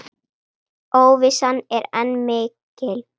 Óvissan er enn mikil.